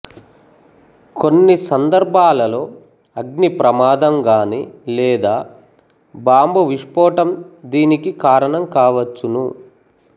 కొన్ని సందర్భాలలో అగ్ని ప్రమాదం గానీ లేదా బాంబు విష్పోటం దీనికి కారణం కావచ్చును